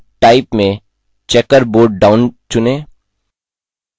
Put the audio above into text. transition type में checkerboard down चुनें